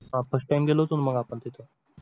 हा first time गेलो होतो ना मग आपण तिथं